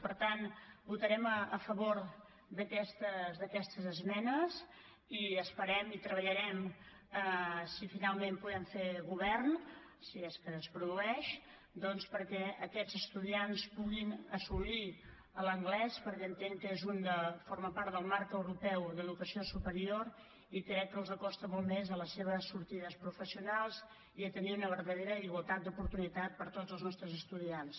per tant votarem a favor d’aquestes esmenes i esperem i treballarem si finalment podem fer govern si és que es produeix doncs perquè aquests estudiants puguin assolir l’anglès perquè entenc que forma part del marc europeu d’educació superior i crec que els acosta molt més a les seves sortides professionals i a tenir una verdadera igualtat d’oportunitats per a tots els nostres estudiants